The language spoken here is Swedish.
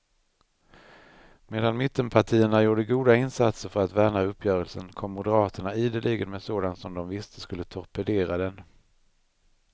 Medan mittenpartierna gjorde goda insatser för att värna uppgörelsen, kom moderaterna ideligen med sådant som de visste skulle torpedera den.